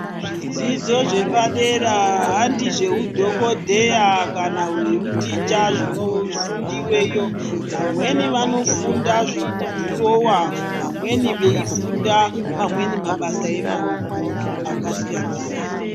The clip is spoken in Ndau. Zvidzidzo zvepadera handi zveudhokodheya kana zveuticha zvinofundweyo. Vamweni vanofunda zvekudhirowa vamweni veifunda mabasa emaoko akasiyana siyana.